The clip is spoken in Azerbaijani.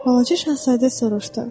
Balaca şahzadə soruşdu.